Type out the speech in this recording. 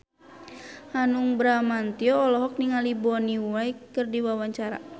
Hanung Bramantyo olohok ningali Bonnie Wright keur diwawancara